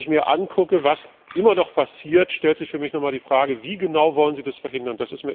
Wenn ich mir ansehe, was immer noch passiert, stellt sich für mich noch einmal die Frage Wie genau wollen Sie das verhindern?